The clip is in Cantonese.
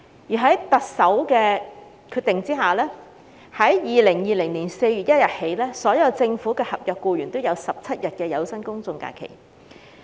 其後，特首決定自2020年4月1日起，所有政府合約僱員也享有17天有薪公眾假期。